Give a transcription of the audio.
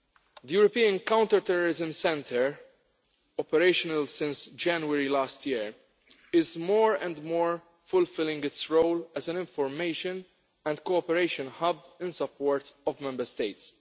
The European Counter-Terrorism Centre, operational since January last year, is more and more fulfilling its role as an information and cooperation hub in support of Member States.